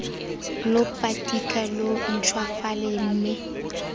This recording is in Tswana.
lo patika lo ntšhwafale mme